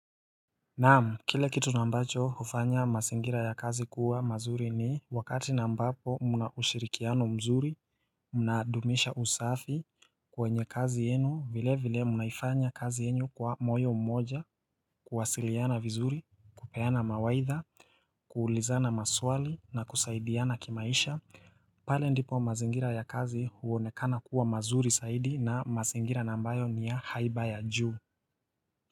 Naam, kile kitu ambacho hufanya mazingira ya kazi kuwa mazuri ni wakati ambapo mna ushirikiano mzuri, mnadumisha usafi kwenye kazi yenu, vilevile mnaifanya kazi yenu kwa moyo mmoja, kuwasiliana vizuri, kupeana mawaidha, kuulizana maswali na kusaidiana kimaisha, pale ndipo mazingira ya kazi huonekana kuwa mazuri zaidi na mazingira na ambayo ni ya haiba ya juu.